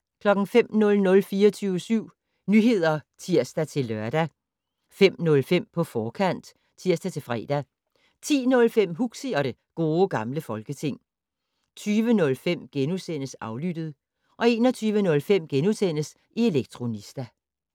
05:00: 24syv Nyheder (tir-lør) 05:05: På forkant (tir-fre) 10:05: Huxi og det Gode Gamle Folketing 20:05: Aflyttet * 21:05: Elektronista *